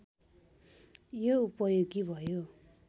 यो उपयोगी भयो